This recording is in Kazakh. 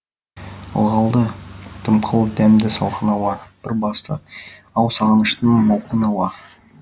ылғалды дымқыл дәмді салқын ауа бір басты ау сағыныштың мауқын ауа